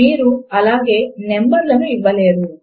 మీరు అలాగే నంబర్ లను ఇవ్వలేరు